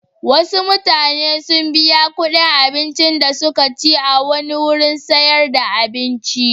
Wasu mutane sun biya kuɗin abincin da suka ci a wani wurin sayar da abinci.